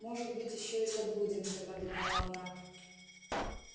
может быть ещё и заблудимся подумала она